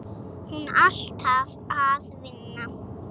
Hún alltaf að vinna.